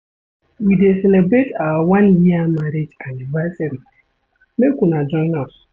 We dey celebrate our one year marriage anniversary, make una join us.